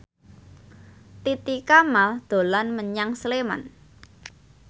Titi Kamal dolan menyang Sleman